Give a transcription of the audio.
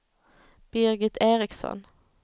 Birgit Ericson